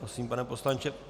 Prosím, pane poslanče.